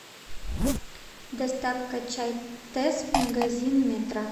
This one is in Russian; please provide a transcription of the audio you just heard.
доставка чай тесс магазин метро